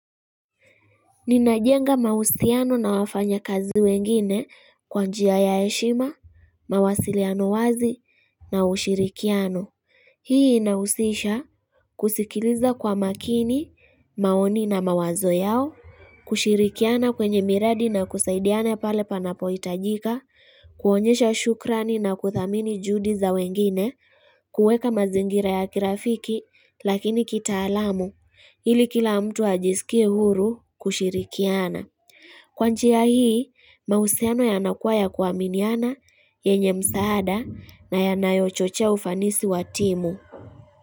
Ninajenga mausiano na wafanya kazi wengine kwanjia ya heshima, mawasiliano wazi na ushirikiano Hii inausisha kusikiliza kwa makini, maoni na mawazo yao, kushirikiana kwenye miradi na kusaidiane pale panapo itajika kuonyesha shukrani na kuthamini judi za wengine kuweka mazingira ya kirafiki lakini kitaalamu ili kila mtu ajisikie huru kushirikiana. Kwa njia hii, mausiano ya nakuwa ya ku aminiana yenye msaada na ya nayo chochea ufanisi wa timu.